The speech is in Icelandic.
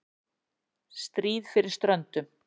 STRÍÐ FYRIR STRÖNDUM